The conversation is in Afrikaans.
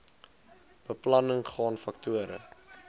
beplanning gaan faktore